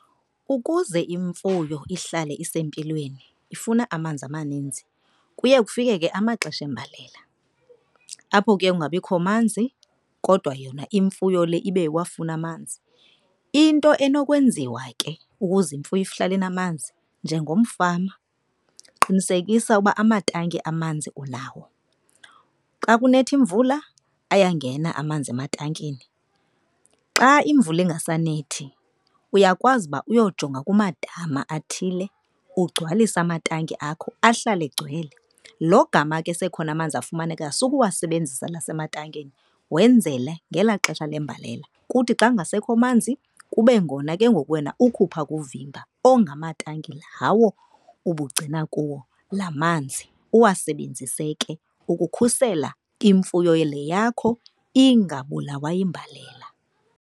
Ukuze imfuyo ihlale isempilweni ifuna amanzi amaninzi. Kuye kufike ke amaxesha embalela apho ke kungabikho manzi kodwa yona imfuyo le ibe iwafuna amanzi. Into enokwenziwa ke ukuze imfuyo ihlale inamanzi njengomfama qinisekisa uba amatanki amanzi unawo. Xa kunetha imvula ayangena amanzi ematankini. Xa imvula ingasanethi, uyakwazi uba uyojonga kumadama athile, ugcwalise amatanki akho ahlale egcwele. Logama ke sekhona amanzi afumanekayo sukuwasebenzisa la asematankini wenzele ngelaa xesha lembalela. Kuthi xa kungasekho manzi kube ngona ke ngoku wena ukhupha kuvimba ongamatanki lawo ubugcina kuwo la manzi uwasebenzise ke ukukhusela imfuyo le yakho ingabulawa yimbalela.